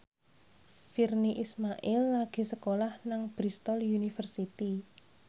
Virnie Ismail lagi sekolah nang Bristol university